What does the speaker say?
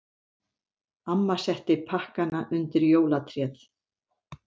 Amma setti pakkana undir jólatréð.